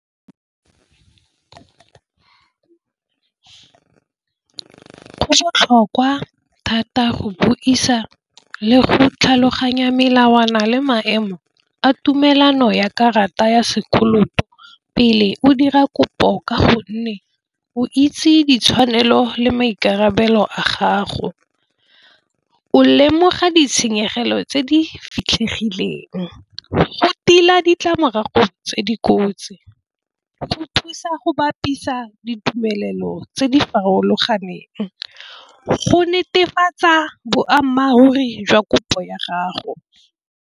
Go botlhokwa thata go buisa le go tlhaloganya melawana le maemo a tumelano ya karata ya sekoloto pele o dira kopo ka go nne o itse ditshwanelo le maikarabelo a gago, o lemoga ditshenyegelo tse di fitlhegileng go tila ditlamorago tse di kotsi, go thusa go bapisa ditumelelo tse di farologaneng, go netefatsa boammaaruri jwa kopo ya gago.